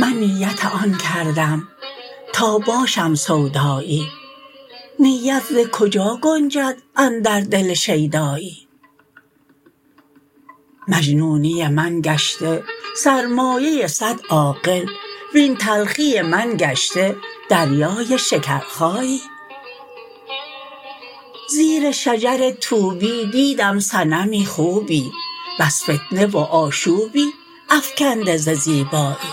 من نیت آن کردم تا باشم سودایی نیت ز کجا گنجد اندر دل شیدایی مجنونی من گشته سرمایه صد عاقل وین تلخی من گشته دریای شکرخایی زیر شجر طوبی دیدم صنمی خوبی بس فتنه و آشوبی افکنده ز زیبایی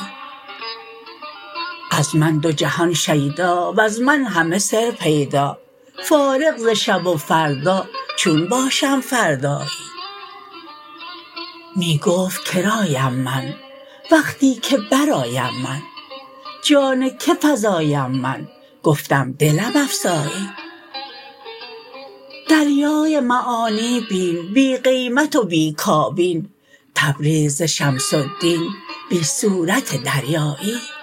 از من دو جهان شیدا وز من همه سر پیدا فارغ ز شب و فردا چون باشم فردایی می گفت کرایم من وقتی که برآیم من جان که فزایم من گفتم دلم افزایی دریای معانی بین بی قیمت و بی کابین تبریز ز شمس الدین بی صورت دریایی